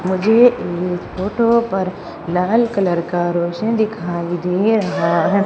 मुझे इस फोटो पर लाल कलर का रोशन दिखाई दे रहा है।